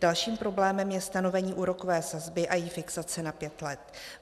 Dalším problémem je stanovení úrokové sazby a její fixace na pět let.